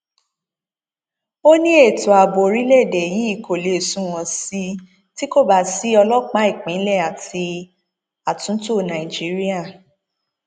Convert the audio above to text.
ó ní ètò ààbò orílẹèdè yìí kó lè sunwọn sí i tí kò bá sí ọlọpàá ìpínlẹ àti àtúntò nàìjíríà